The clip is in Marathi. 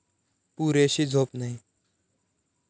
पुरेशी झोप नाही